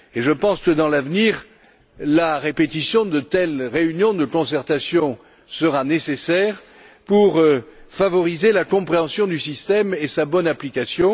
Je pense qu'à l'avenir, la répétition de telles réunions de concertation sera nécessaire pour favoriser la compréhension du système et sa bonne application.